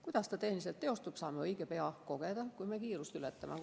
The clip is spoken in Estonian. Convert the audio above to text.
Kuidas see tehniliselt teostub, saame õige pea kogeda, kui me kiirust ületame.